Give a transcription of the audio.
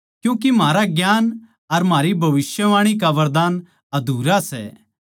क्यूँके म्हारा ज्ञान अर म्हारी भविष्यवाणी का वरदान अधूरा सै